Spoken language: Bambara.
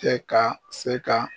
Tɛ ka se ka